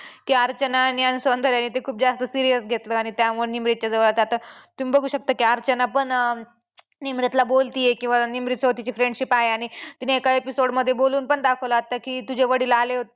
ती अर्चना आणि सौंदर्याने खूप जास्त serious घेतलं त्यामुळं निमरीतच्या जवळ आता तुम्ही बघू शकता की अर्चना पण अं निमरीतला बोलते किंवा निमरीतसोबत तिची friendship आहे तिने एका episode मध्ये बोलून पण दाखवलं आता की तुझे वडील आले